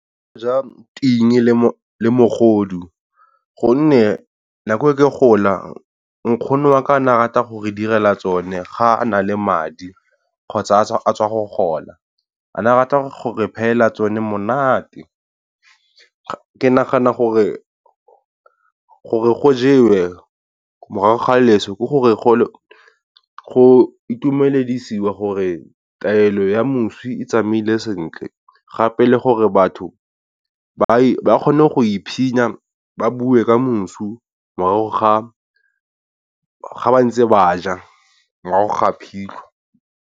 Go ja ting le mogodu gonne nako e ke gola nkgono wa ka ne a rata gore direla tsone ga a na le madi kgotsa a tswa go gola. A ne a rata gore phehela tsone monate. Ke nagana gore go jewe morago ga leso ke gore go itumedisiwa gore taelo ya moswi e tsamaile sentle, gape le gore batho ba kgone go ba bue ka mosu morago ga ba ntse ba ja morago ga phitlho.